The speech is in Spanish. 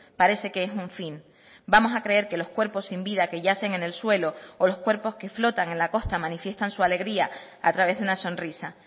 parece que es un fin vamos a creer que los cuerpos sin vida que yacen en el suelo o los cuerpos que flotan en la costa manifiestan su alegría a través de una sonrisa